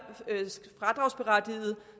fradragsberettigede